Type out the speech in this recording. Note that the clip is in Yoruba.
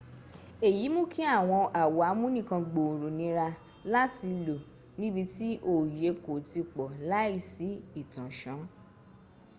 èyí mún kí àwọn àwo amúnìkangbòòrò nira láti lò níbi tí òòye kò ti pọ̀ láìsí ìtànsán